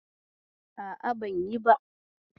A'a, ban yi ba.